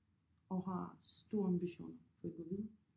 Og har store ambitioner for at gå videre